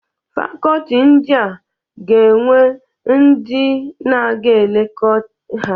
Fakoti ndịa ga-enwe ndị dịn ga-eleko ha.